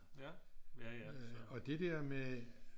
Og det der med